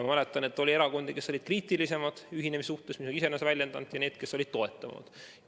Ma mäletan, et oli erakondi, kes olid ühinemise suhtes kriitilisemad, ja oli neid, kes olid toetavamad.